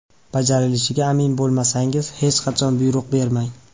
Bajarilishiga amin bo‘lmasangiz, hech qachon buyruq bermang!